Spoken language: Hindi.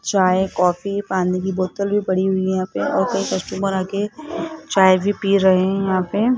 चाय कॉफी पानी की बोतल भी पड़ी हुई है यहां पे और कई कस्टमर आ के चाय भी पी रहे हैं यहां पे।